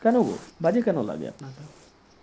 কেন গো বাজে কেন লাগে আপনার?